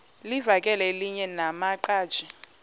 livakele elinye lamaqhaji